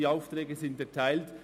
Die Aufträge sind erteilt.